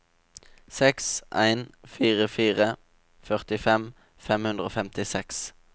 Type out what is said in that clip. seks en fire fire førtifem fem hundre og femtiseks